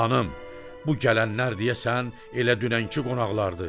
Xanım, bu gələnlər deyəsən elə dünənki qonaqlardı.